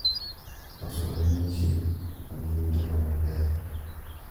Loso ranyisi ma nigi ngima maber.